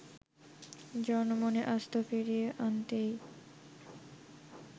জনমনে আস্থা ফিরিয়ে আনতেই